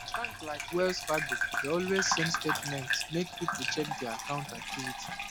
bank like wells fargo dey always send statement make people check their account activity